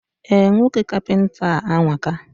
Eh, nwoke kapịnta a anwaka